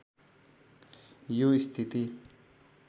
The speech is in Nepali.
यो स्थिति